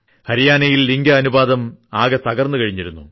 ഹരിയാനയിൽ ലിംഗ അനുപാതം ആകെ തകർന്നു കഴിഞ്ഞിരുന്നു